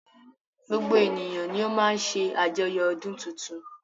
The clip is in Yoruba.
Gbogbo ènìyàn ni o má ń ṣe àjoyo ọdún tuntun.